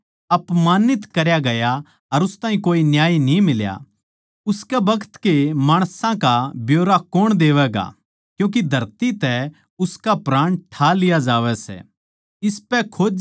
उस ताहीं अपमानित करया गया अर उस ताहीं कोए न्याय न्ही मिल्या उसकै बखत के माणसां का ब्यौरा कौण देवैगा क्यूँके धरती तै उसका प्राण ठा लिया जावै सै